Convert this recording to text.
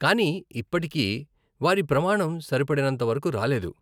కానీ ఇప్పటికీ, వారి ప్రమాణం సరిపడినంత వరకు రాలేదు .